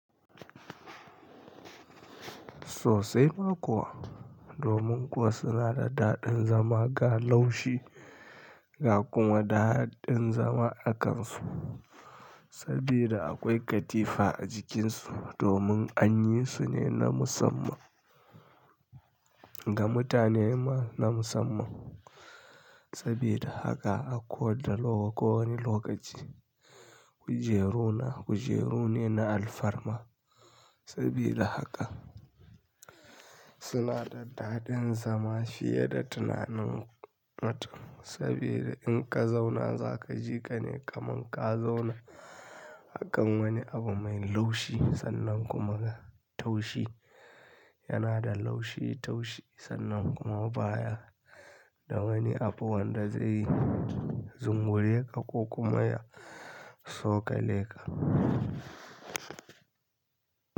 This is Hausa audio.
Sosai ma kuwa, domin kuwa suna da daɗin zama ga laushi ga kuma daɗin zama a kansu sabida akwai katifa a jikin su domin anyi su ne na musamman ga mutane ma na musamman. Sabida haka a ko da ko wane lokaci kujeru na kujeru ne na alfarma sabida haka suna da daɗin zama fiye da tunanin mutum saboda in ka zauna za ka ji ka ne kaman ka zauna akan wani abu mai laushi sannan kuma ga taushi yana da laushi taushi sannan kuma baya da wani abu wanda zai zungure ka ko kuma ya sokale ka.